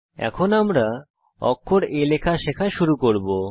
আমরা এখন অক্ষর a লেখা শেখা শুরু করব